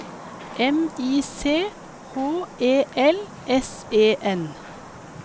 M I C H E L S E N